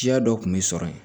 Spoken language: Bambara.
Siya dɔ kun bɛ sɔrɔ yen